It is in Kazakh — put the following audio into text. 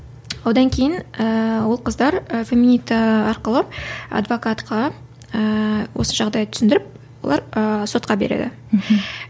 одан кейін ііі ол қыздар феминита арқылы адвокатқа ііі осы жағдайды түсіндіріп олар ыыы сотқа береді мхм